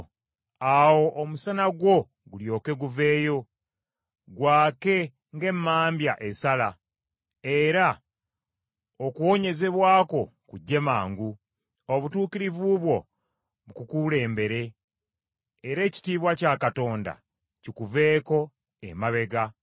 Awo omusana gwo gulyoke guveeyo gwake ng’emmambya esala, era okuwonyezebwa kwo kujje mangu; obutuukirivu bwo bukukulembere, era ekitiibwa kya Katonda kikuveeko emabega.